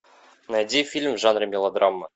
найди фильм в жанре мелодрама